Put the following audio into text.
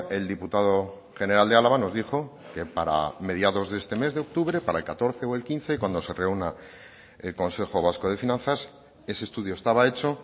el diputado general de álava nos dijo que para mediados de este mes de octubre para el catorce o el quince cuando se reúna el consejo vasco de finanzas ese estudio estaba hecho